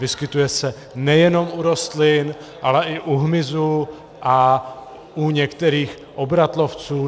Vyskytuje se nejenom u rostlin, ale i u hmyzu a u některých obratlovců.